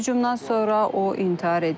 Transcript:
Hücumdan sonra o intihar edib.